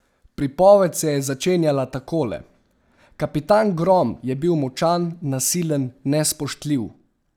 Pripoved se je začenjala takole: "Kapitan Grom je bil močan, nasilen, nespoštljiv.